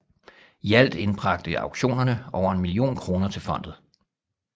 I alt indbragte auktionerne over en million kroner til fondet